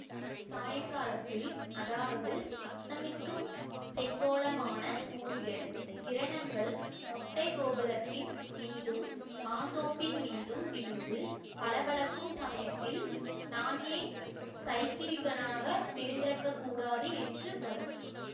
சாயங்காலத்தில் அதாவது அஸ்தமிக்கும் செங்கோளமான சூரியன் கிரணங்கள் மொட்டைக் கோபுரத்தின் மீதும் மாந்தோப்பின் மீதும் விழுந்து பளபளக்கும் சமயத்தில் நான் ஏன் சைத்திரிகனாகப் பிறந்திருக்கக்கூடாது என்று படும்